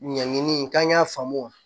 Ɲɛɲini k'an y'a faamu